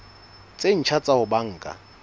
tse ntjha tsa ho banka